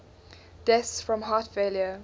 deaths from heart failure